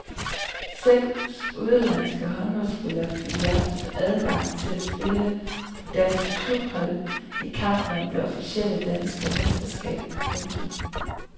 Seks udenlandske håndboldspillere fik i aftes adgang til at spille på danske klubhold i kampen om det officielle danske mesterskab. punktum